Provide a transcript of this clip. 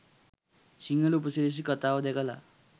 සිංහල උපසිරැසි කතාව දැකලා